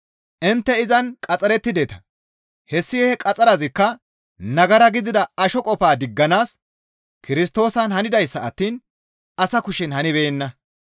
Intte izan qaxxarettideta; hessi he qaxxarazikka nagara gidida asho qofaa digganaas Kirstoosan hanidayssa attiin asa kushen hanibeenna.